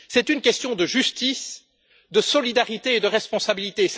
C'est une question de justice, de solidarité et de responsabilité.